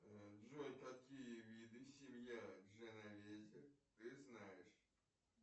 джой какие виды семья дженовезе ты знаешь